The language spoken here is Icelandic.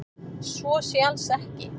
Svo sé alls ekki